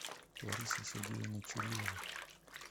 ларисой сергеевной чуриловой